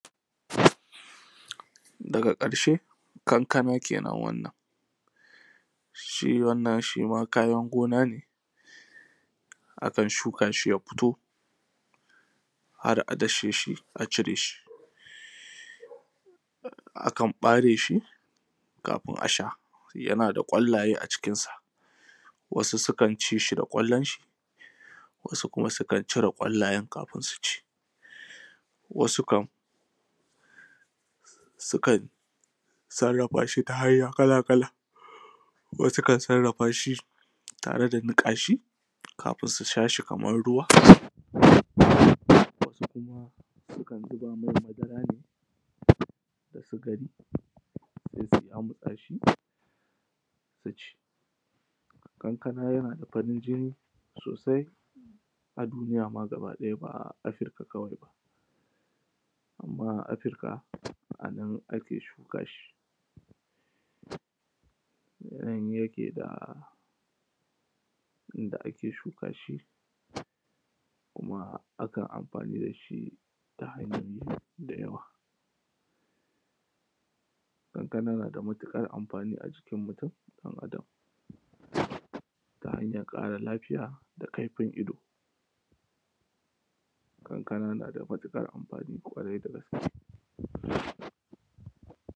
daga ƙarshe kankana kenan wannan shi wannan shi ma kayan gona ne akan shuka shi ya fito har a dashe shi a cire shi a kan ɓare shi kafin a sha yana da ƙwallaye a cikinsa wasu sukan ci shi da ƙwallon shi wasu kuma sukan cire ƙwallayen kafin su ci wasu kam sukan sarrafa shi ta hanya kala kala wasu kan sarrafa shi tare da niƙa shi kafin su sha shi kaman ruwa wasu kuma sukan zuba mai madara ne da sukari sai su yamutsa shi su ci kankana yana da farin jini sosai a dunyi ma gaba ɗaya ba afirka kawai ba amman afirka a nan ake shuka shi nan yake da inda ake shuka shi kuma akan amfani da shi ta hanyoyi da yawa kankana na da matuƙar amfani a jikin mutum ɗan adam ta hanyar ƙara lafiya da kaifin ido kankana na da matuƙar amfani ƙwarai da gaske